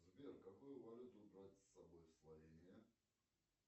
сбер какую валюту брать с собой в словения